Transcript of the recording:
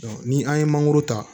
ni an ye mangoro ta